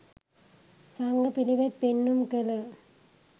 සංඝ පිළිවෙත් පෙන්නුම් කළ